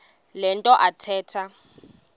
le nto athetha